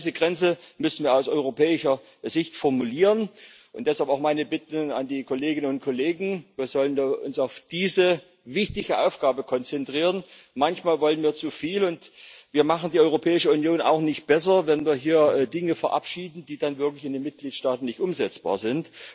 Genau diese Grenze müssen wir aus europäischer Sicht formulieren, und deshalb auch meine Bitte an die Kolleginnen und Kollegen Wir sollten uns auf diese wichtige Aufgabe konzentrieren. Manchmal wollen wir zu viel, und wir machen die Europäische Union auch nicht besser, wenn wir hier Dinge verabschieden, die dann wirklich in den Mitgliedstaaten nicht umsetzbar sind.